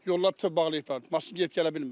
Yollar bütöv bağlayıblar.